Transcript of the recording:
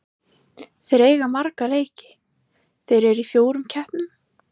Þeir eiga marga leiki, þeir eru í fjórum keppnum.